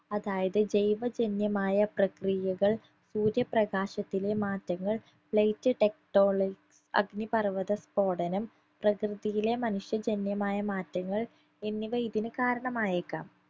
അതായത് ജൈവ ജന്യമായ പ്രകിയകൾ സൂര്യ പ്രകാശത്തിലെ മാറ്റങ്ങൾ light techtonil അഗ്നിപർവത സ്ഫോടനം പ്രകൃതിയിലെ മനുഷ്യ ജന്യമായ മാറ്റങ്ങൾ എന്നിവ ഇതിന് കാരണമായേക്കാം